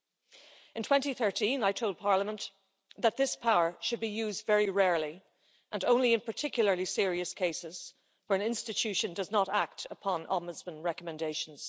In 2013, I told Parliament that this power should be used very rarely and only in particularly serious cases where an institution does not act upon Ombudsman recommendations.